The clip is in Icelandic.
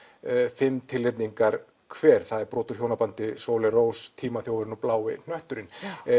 fimm tilnefningar hver það er brot úr hjónbandi Sóley Rós tímaþjófurinn og blái hnötturinn